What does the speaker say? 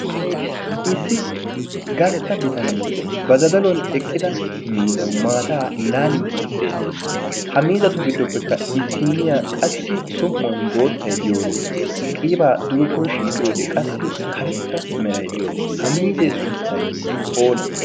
issi gastta bitanee ba zazzaluwaan eqqida miizzaw mataa laalidi beettees. ha miizzatu giddoppekka issiniyaa som"uwaan boottay diyooro qiibaa dugekko shiiqiyoode qassi karetta meray diyooro ha miizzee sunttay oonnee?